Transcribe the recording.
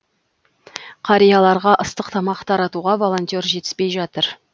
қарияларға ыстық тамақ таратуға волонтер жетіспей жатыр